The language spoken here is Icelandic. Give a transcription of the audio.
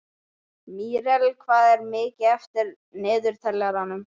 Míríel, hvað er mikið eftir af niðurteljaranum?